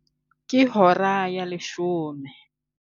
Ke hora ya leshome.